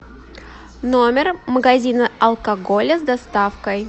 номер магазина алкоголя с доставкой